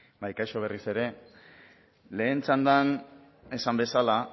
bai kaixo berriz ere lehen txandan esan bezala